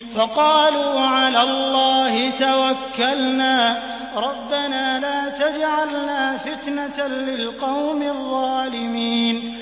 فَقَالُوا عَلَى اللَّهِ تَوَكَّلْنَا رَبَّنَا لَا تَجْعَلْنَا فِتْنَةً لِّلْقَوْمِ الظَّالِمِينَ